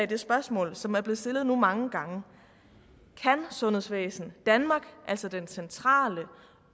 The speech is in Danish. det spørgsmål som er blevet stillet nu mange gange kan sundhedsvæsen danmark altså den centrale